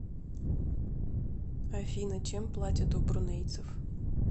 афина чем платят у брунейцев